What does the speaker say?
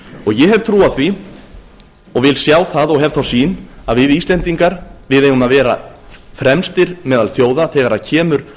ég hef trú á því vil sjá það og hef þá sýn að við íslendingar eigum að vera fremstir meðal þjóða þegar kemur